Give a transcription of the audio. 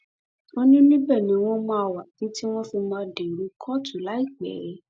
ó ní ibẹ ni wọn máa wà títí tí wọn fi máa dèrò kóòtù láìpẹ